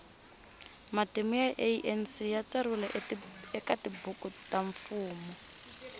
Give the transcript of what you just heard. matimu ya anc yatsariwe ekatibhuku tamfumo